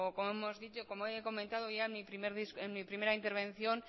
o como he comentado ya en mi primera intervención